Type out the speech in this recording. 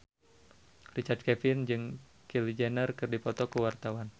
Richard Kevin jeung Kylie Jenner keur dipoto ku wartawan